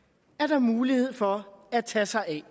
at der er mulighed for at tage sig af